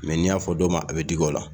Mɛ n'i y'a fɔ dɔn ma a bɛ digi o la.